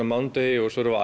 mánudegi og svo erum við